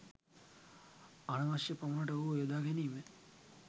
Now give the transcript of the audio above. අනවශ්‍ය පමනට ඔහුව යොදා ගැනීම